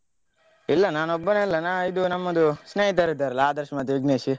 ಇಲ್ಲ ನಾನೊಬ್ಬನೇ ಅಲ್ಲ ನಾವಿದು ನಮ್ಮದು ಸ್ನೇಹಿತರಿದ್ದಾರಲ್ಲ ಆದರ್ಶ್ ಮತ್ತೆ ವಿಘ್ನೇಶ್?